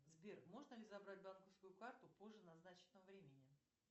сбер можно ли забрать банковскую карту позже назначенного времени